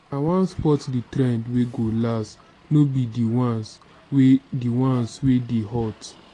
i wan spot di trend wey go last no be di ones wey di ones wey dey hot.